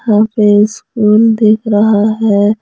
वहाँ पे स्कूल दिख रहा है।